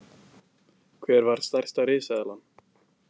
Hver var stærsta risaeðlan?